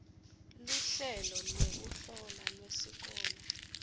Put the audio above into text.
luhlelo lwekuhlola lwesikolo